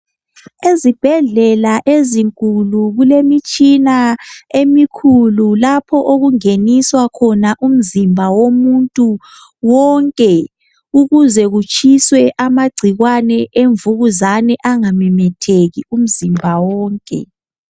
Ezibhedlela ezinkulu kulemitshina emikhulu lapho okungeniswa khona umzimba womuntu wonke ukuze kutshiswe amagcikwane emvukuzane engamemetheki umzimba wonke.